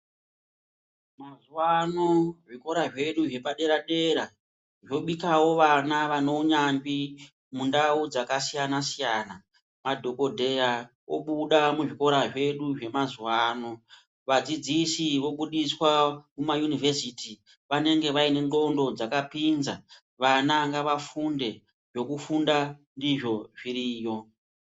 Antu pano zvikora zvedu zvepadera dera zvobikawo vana vaneunyanzvi mundau dzakasiyana siyana. Madhokodheya obuda muzvikora zvedu zvema zuwa ano, vadzidzisi vobudiswa muma univesiti vanenge vaine ndxondo dzakapinza. Vana ngavafunde, zvekufunda izvo zviri yo.